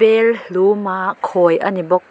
bel hlum a khawi a ni bawk a--